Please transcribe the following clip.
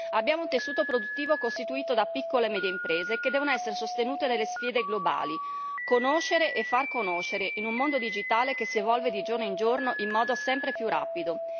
Abbiamo un tessuto produttivo costituito da piccole e medie imprese che devono essere sostenute nelle sfide globali conoscere e far conoscere, in un mondo digitale che si evolve, di giorno in giorno, in modo sempre più rapido.